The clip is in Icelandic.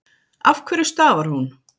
Af hverju stafar hún?